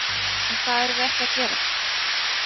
Og það erum við ekki að gera?